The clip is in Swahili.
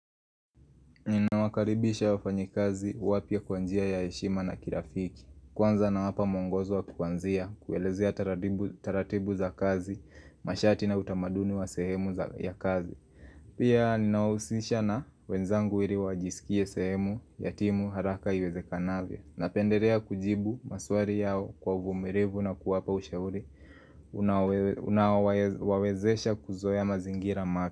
Ninawakaribisha wafanyikazi wapya kwa njia ya heshima na kirafiki Kwanza nawapa mwongozo wa kwanzia kuelezea taratibu taratibu za kazi mashati na utamaduni wa sehemu za ya kazi Pia ninawahusisha na wenzangu iri wajisikie sehemu ya timu haraka iwezekanavyo napenderea kujibu maswari yao kwa uvumirivu na kuwapa ushauri unaowe Unaowae wawezesha kuzoea mazingira ma.